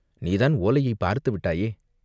நீ தான் ஓலையைப் பார்த்துவிட்டாயே?